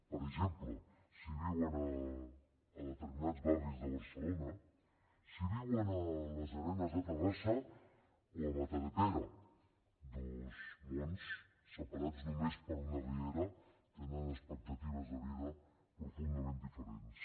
per exemple si viuen a determinats barris de barcelona si viuen a les arenes de terrassa o a matadepera dos mons separats només per una riera tenen expectatives de vida profundament diferents